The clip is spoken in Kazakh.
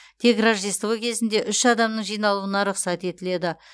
тек рождество кезінде үш адамның жиналуына рұқсат етіледі